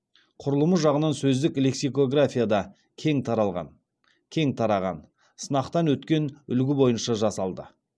құрылымы жағынан сөздік лексикографияда кең таралған кең тараған сынақтан өткен үлгі бойынша жасалды